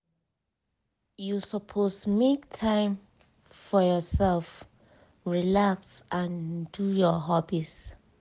you suppose make time for yourself relax and do your hobbies.